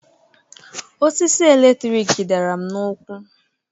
Osisi eletrik dara m n'ụkwụ